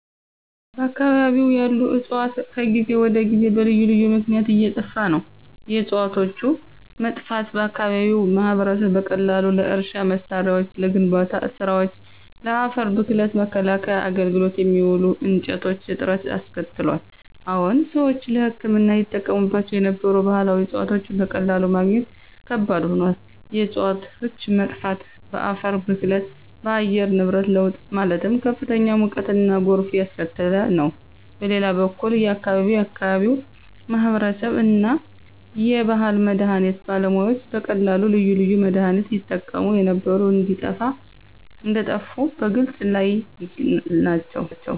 በአከባቢው ያሉ ዕፅዋት ከጊዜ ወደ ጊዜ በልዩ ልዩ ምክነያት እየጠፋ ነው። የዕፅዋቶቹ መጥፋት በአከባቢው ማህበረሰብ በቀላሉ ለእርሻ መሳሪያዎች፣ ለግንባታ ስራወች፣ ለአፈር ብክለት መከላከያ አገልግሎት የሚውሉ እንጨቶች እጥረት አስከትሏል። አዎን ሰዎች ለህክምና ይጠቀሙባቸው የነበሩ ባህላዊ ዕፅዋቶች በቀላሉ ማግኘት ከባድ ሆኗል። የእፅዋቶች መጥፋት በአፈር ብክለት፣ በአየር ንብረት ለውጥ ማለትም ከፍተኛ ሙቀትና ጎርፍ እያስከተለ ነው። በሌላ በኩል የአከባቢው የአከባቢው ማህበረሰብ እና የባህል መድሀኒት ባለሙያዎች በቀላሉ ልዩ ልዩ ለመድሃኒነት ይጠቀሙ የነበሩ እንደጠፉ በመግለፅ ላይ ናቸው።